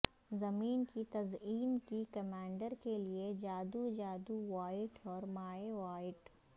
زمین کی تزئین کی کمانڈر کے لئے جادو جادو وائٹ اور مائع وائٹ